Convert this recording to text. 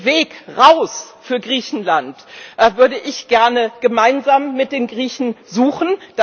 Den Weg raus für Griechenland würde ich gerne gemeinsam mit den Griechen suchen.